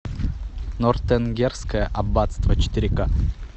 нортенгерское аббатство четыре ка